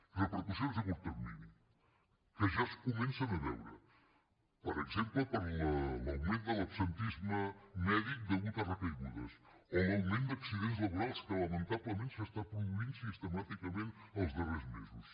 i repercussions a curt termini que ja es comencen a veure per exemple per l’augment de l’absentisme mèdic degut a recaigudes o l’augment d’accidents laborals que lamentablement s’està produint sistemàticament els darrers mesos